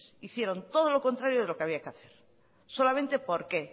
hicieron todo lo contrario de lo que había que hacer solamente porque